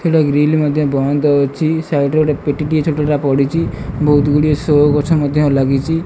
ଏଟା ଗ୍ରିଲ୍ ମଧ୍ୟ ବଂଦ ଅଛି। ସାଇଡ଼୍ ରେ ଗୋଟେ ପେଟି ଟିଏ ଛୋଟଟା ପଡ଼ିଚି। ବୋହୁତ ଗୁଡ଼ିଏ ସୋ ଗଛ ମଧ୍ୟ ଲାଗିଚି।